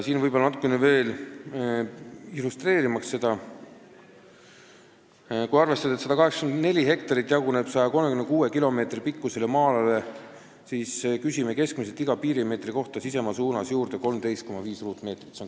Et seda natukene illustreerida, märgin veel, et kui arvestada, et 184 hektarit jaguneb 136 kilomeetri pikkusele maa-alale, siis küsime keskmiselt piiri iga meetri kohta sisemaa suunas juurde 13,5 ruutmeetrit.